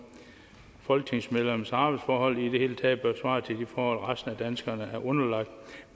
at folketingsmedlemmers arbejdsforhold i det hele taget bør svare til de forhold resten af danskerne er underlagt